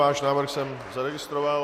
Váš návrh jsem zaregistroval.